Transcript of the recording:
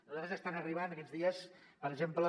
a nosaltres ens estan arribant aquests dies per exemple